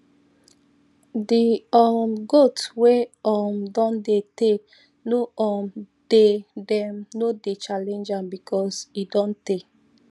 the um goat wey um don dey tey no um dey them no dey challenge am because e don te